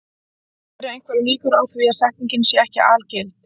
Eru einhverjar líkur á því að setningin sé ekki algild?